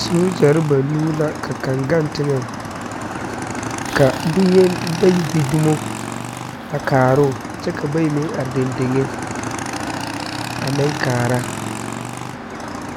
Sogyɛre banuu la ka kaŋ gaŋ teŋɛŋ ka bonyeni bayi gbi dumo a kaaroo kyɛ ka ba bayi meŋ are deŋdeŋe a meŋ kaara